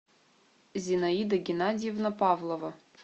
зинаида геннадьевна павлова